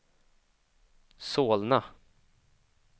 Solna